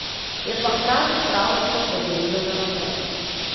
Je pa hkrati pravšnje opozorilo za naprej.